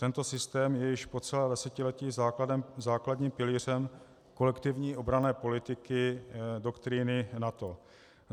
Tento systém je již po celé desetiletí základním pilířem kolektivní obranné politiky doktríny NATO.